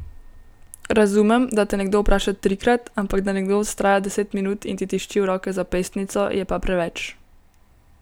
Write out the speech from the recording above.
Razumem, da te nekdo vpraša trikrat, ampak da nekdo vztraja deset minut in ti tišči v roke zapestnico, je pa preveč!